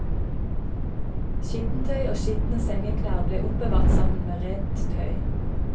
Skittentøy og skitne sengeklær ble oppbevart sammen med rent tøy.